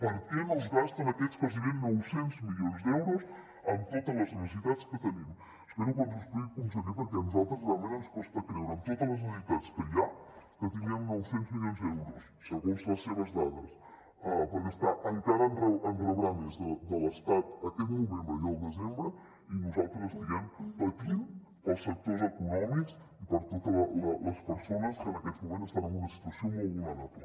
per què no es gasten aquests gairebé nou cents milions d’euros amb totes les necessitats que tenim espero que ens ho expliqui conseller perquè a nosaltres realment ens costa de creure que amb totes les necessitats que hi ha que tinguem nou cents milions d’euros segons les seves dades per gastar encara en rebrà més de l’estat aquest novembre i el desembre i nosaltres estiguem patint pels sectors econòmics i per totes les persones que en aquests moments estan en una situació molt vulnerable